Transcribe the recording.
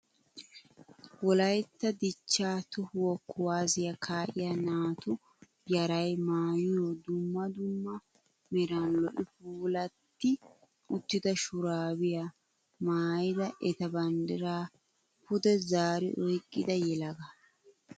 Wolayitta dichchaa tohuwaa kuwaazziya kaa'iyaa naatu yarayi maayiyo dumma dumma meran lo'i puulatti uttida shuraabiyaa maayyida eta banddira pude zaari oyiqqida yelagaa.